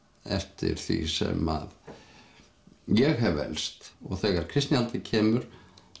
eftir því sem að ég hef elst og þegar kristnihaldið kemur